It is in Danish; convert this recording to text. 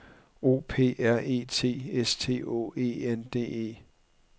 O P R E T S T Å E N D E